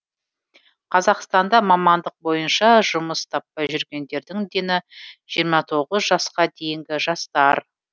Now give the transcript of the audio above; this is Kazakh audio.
қазақстанда мамандық бойынша жұмыс таппай жүргендердің дені жиырма тоғыз жасқа дейінгі жастар